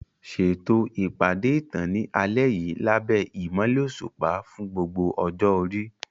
Ṣètò ìpàdé ìtàn ní alẹ́ yìí lábẹ́ ìmọ́lẹ̀ òṣùpá fún gbogbo ọjọ́ orí.